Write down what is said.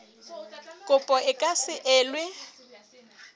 kopo e ka se elwe